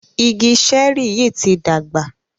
Igi Ṣẹ́rì yí tí dàgbà.